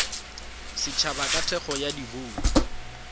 setšhaba ka thekgo ya dibouto